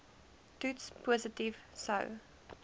toets positief sou